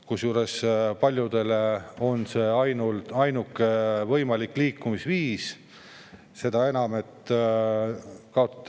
Kusjuures paljudele on auto ainuke võimalik liikumis.